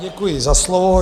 Děkuji za slovo.